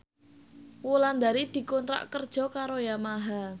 Wulandari dikontrak kerja karo Yamaha